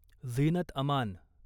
Zeenat Aman